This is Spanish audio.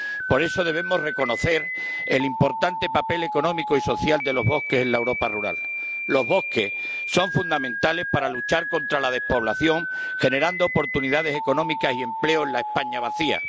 Por eso, debemos reconocer el importante papel económico y social de los bosques en la Europa rural. Los bosques son fundamentales para luchar contra la despoblación, generando oportunidades económicas y empleo en la España vacía.